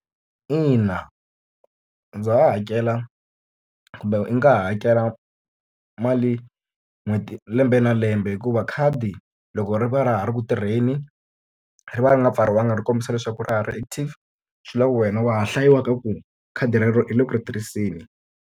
Ina ndza ha ha hakela kumbe u nga ha hakela mali n'hweti lembe na lembe. Hikuva khadi loko ri va ra ha ri ku tirheni, ri va ri nga pfariwanga ri kombisa leswaku ra ha ri active swi vula leswaku wena wa ha hlayiwa ka ku khadi relero u le ku ri tirhiseni.